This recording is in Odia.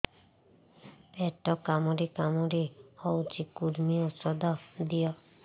ପେଟ କାମୁଡି କାମୁଡି ହଉଚି କୂର୍ମୀ ଔଷଧ ଦିଅ